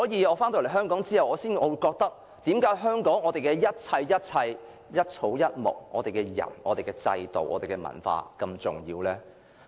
我回港後便感到，為何香港的一事一物、一草一木、人、制度和文化如此重要呢？